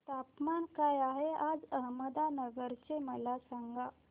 तापमान काय आहे आज अहमदनगर चे मला सांगा